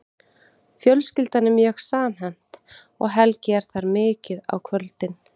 Fjölskyldan er mjög samhent og Helgi er þar mikið á kvöldin.